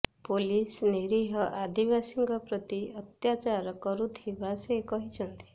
police ନିରୀହ ଆଦିବାସୀଙ୍କ ପ୍ରତି ଅତ୍ୟାଚାର କରୁଥିବା ସେ କହିଛନ୍ତି